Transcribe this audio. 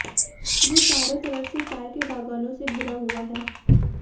जो चारों तरफ से चाय के बागानों से घिरा हुआ है